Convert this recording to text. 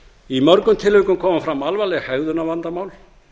í mörgum tilvikum koma fram alvarleg hegðunarvandamál